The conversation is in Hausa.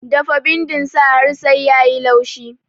Dafa bindin sa har sai yayi laushi